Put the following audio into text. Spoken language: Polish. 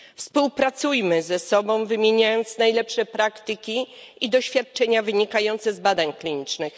Współpracujmy ze sobą, wymieniając najlepsze praktyki i doświadczenia wynikające z badań klinicznych.